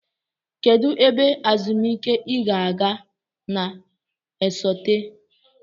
Kedu ebe ezumike ị ga-aga na-esote?